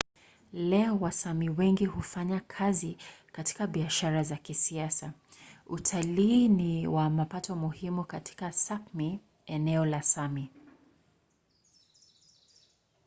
leo wasámi wengi hufanya kazi katika biashara za kisasa. utalii ni wa mapato muhimu katika sápmi eneo la sámi